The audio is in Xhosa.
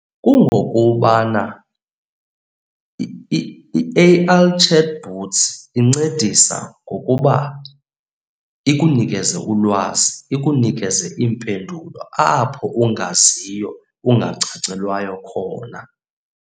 Kungokubana i-A_I chatbots incedisa ngokuba ikunikeze ulwazi, ikunikeze iimpendulo apho ungaziyo, ungacacelwayo khona.